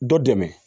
Dɔ dɛmɛ